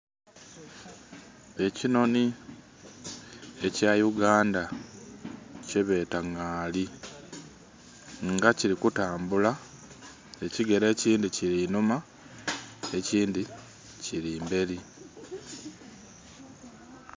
Ekinonhini ekya Uganda kye beta ngali nga kili kutambula ekigere ekindhi kiri innhuma ekindhi kili mberi.